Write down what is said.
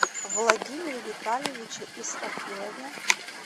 владимире витальевиче исрафилове